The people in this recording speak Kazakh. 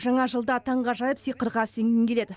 жаңа жылда таңғажайып сиқырға сенгің келеді